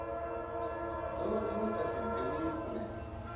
dzothe hu sa sedziwi uri